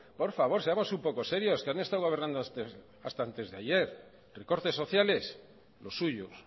por favor seamos un poco serios que han estado hablando hasta antes de ayer recortes sociales los suyos